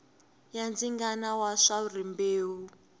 ya ndzingano wa swa rimbewu